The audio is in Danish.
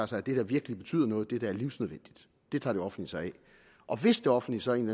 sig af det der virkelig betyder noget det der er livsnødvendigt tager det offentlige sig af og hvis det offentlige så af en